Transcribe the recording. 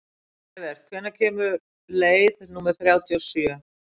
Evert, hvenær kemur leið númer þrjátíu og sjö?